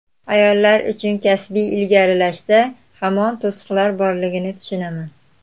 Ayollar uchun kasbiy ilgarilashda hamon to‘siqlar borligini tushunaman.